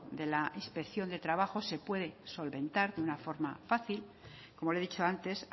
de la inspección de trabajo se puede solventar de una forma fácil como le he dicho antes